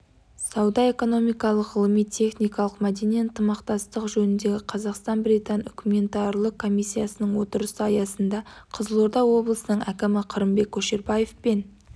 сауда-экономикалық ғылыми-техникалық мәдени ынтымақтастық жөніндегі қазақстан-британ үкіметаралық комиссиясының отырысы аясында қызылорда облысының әкімі қырымбек көшербаев пен